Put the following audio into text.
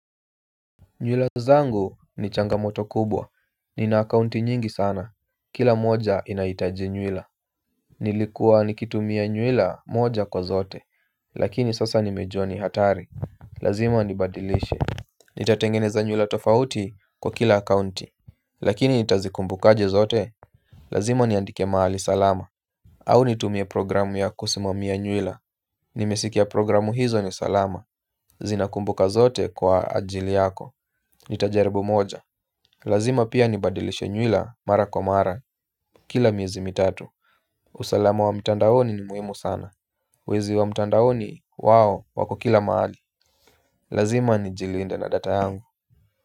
Nywila zangu ni changamoto kubwa, nina akaunti nyingi sana, kila moja inahitaji nywila. Nilikuwa nikitumia nywila moja kwa zote, lakini sasa nimejua ni hatari. Lazima nibadilishe. Nitatengeneza nywila tofauti kwa kila akaunti. Lakini nitazikumbuka aje zote? Lazima niandike mahali salama. Au nitumie programu ya kusimamia nywila. Nimesikia programu hizo ni salama. Zinakumbuka zote kwa ajili yako. Nitajaribu moja. Lazima pia nibadilishe nywila mara kwa mara. Kila miezi mitatu. Usalama wa mtandaoni ni muhimu sana. Wezi wa mtandaoni wao wako kila mahali. Lazima nijilinde na data yangu.